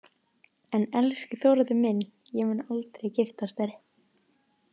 En elsku Þórður minn, ég mun aldrei giftast þér.